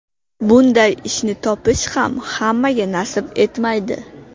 Bunday ishni topish ham hammaga nasib etmaydi.